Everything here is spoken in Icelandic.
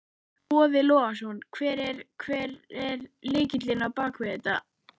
Boði Logason: Hver er, hver er lykillinn á bakvið þetta?